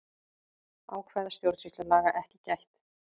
Ákvæða stjórnsýslulaga ekki gætt